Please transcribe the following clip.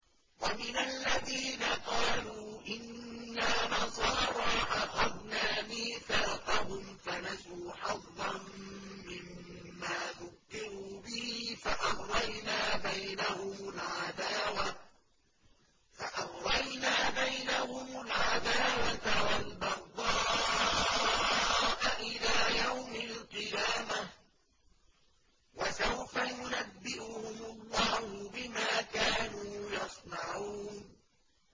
وَمِنَ الَّذِينَ قَالُوا إِنَّا نَصَارَىٰ أَخَذْنَا مِيثَاقَهُمْ فَنَسُوا حَظًّا مِّمَّا ذُكِّرُوا بِهِ فَأَغْرَيْنَا بَيْنَهُمُ الْعَدَاوَةَ وَالْبَغْضَاءَ إِلَىٰ يَوْمِ الْقِيَامَةِ ۚ وَسَوْفَ يُنَبِّئُهُمُ اللَّهُ بِمَا كَانُوا يَصْنَعُونَ